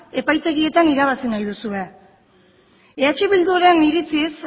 epaitegietan irabazi nahi duzue eh bilduren iritziz